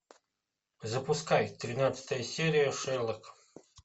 запускай тринадцатая серия шерлок